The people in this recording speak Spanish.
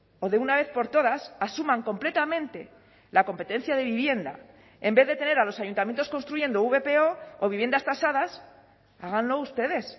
o de una vez por todas asuman completamente la competencia de vivienda en vez de tener a los ayuntamientos construyendo vpo o viviendas tasadas háganlo ustedes